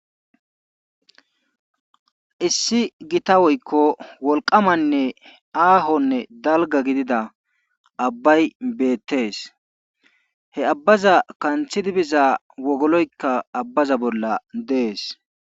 issi gita woykko wolqamanne aahonne dalga gidida abbay beettees he abbaza kanthi biza wogoloykka abbaza bolla dees